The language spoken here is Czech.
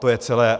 To je celé.